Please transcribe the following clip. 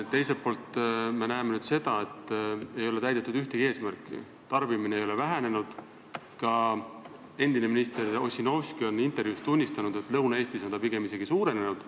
Nüüd näeme seda, et tarbimine ei ole vähenenud, ka endine minister Ossinovski on intervjuus tunnistanud, et Lõuna-Eestis on see pigem isegi suurenenud.